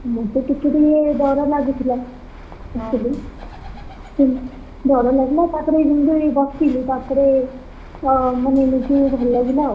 ମୁଁତ ଟିକେ ଟିକେ ଡ଼ର ଲାଗୁଥିଲା। ଯେମିତି ଡ଼ର ଲାଗିଲା ତାପରେ ଯେମିତି ବସିଲି ତାପରେ, ତ ମାନେ ନିଜକୁ ଟିକେ ଭଲ ଲାଗିଲା ଆଉ,